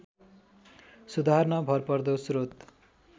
सुधार्न भरपर्दो श्रोत